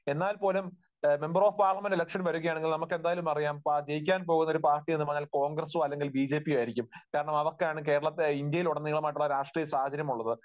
എന്നാൽപോലും member of parliament election വരികയാണെങ്കിൽ ജയിക്കാൻ പോകുന്ന ഒരു പാർട്ടി എന്ന് പറയുന്നത് കോൺഗ്രസോ അല്ലെങ്കിൽ ബിജെപിയോ ആയിരിക്കും. കാരണം അവർക്കാണ് കേരളത്തിൽ, ഇന്ത്യയിൽ ഉടനീളമായിട്ടുള്ള രാഷ്ട്രീയ സാഹചര്യമുള്ളത്.